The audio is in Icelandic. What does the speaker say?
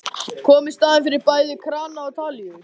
Kom í staðinn fyrir bæði krana og talíu.